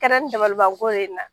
Kɛra ni dabalibanko de ye n na